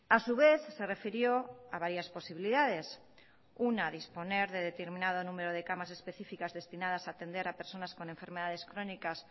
a su vez se refirió a varias posibilidades una disponer de determinado número de camas específicas destinadas a atender a personas con enfermedades crónicas